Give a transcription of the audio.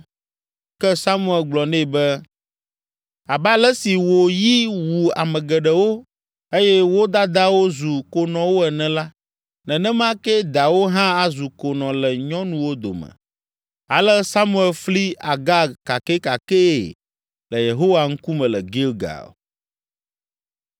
Ke Samuel gblɔ nɛ be, “Abe ale si wò yi wu ame geɖewo eye wo dadawo zu konɔwo ene la nenema kee dawò hã azu konɔ le nyɔnuwo dome.” Ale Samuel fli Agag kakɛkakɛe le Yehowa ŋkume le Gilgal.